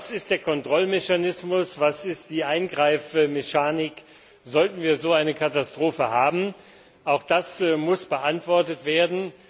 Was ist der Kontrollmechanismus, was ist die Eingreifmechanik, sollten wir so eine Katastrophe haben? Auch das muss beantwortet werden.